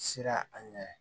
Siran a ɲɛ